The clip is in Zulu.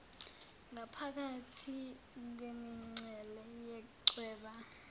ngaphakathi kwemincele yechweba